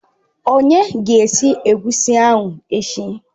Onye ga-esi Egusi ahụ echi?